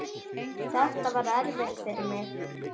Þetta var erfitt fyrir mig.